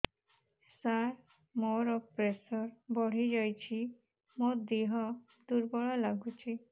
ସାର ମୋର ପ୍ରେସର ବଢ଼ିଯାଇଛି ମୋ ଦିହ ଦୁର୍ବଳ ଲାଗୁଚି